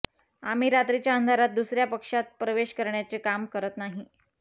आम्ही रात्रीच्या अंधारात दुसऱ्या पक्षात प्रवेश करण्याचे काम करत नाही